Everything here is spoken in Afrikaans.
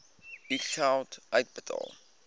u geld uitbetaal